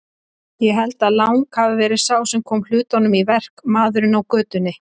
Ég held að Lang hafi verið sá sem kom hlutunum í verk, maðurinn á götunni.